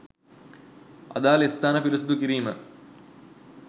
අදාළ ස්ථාන පිරිසුදු කිරීම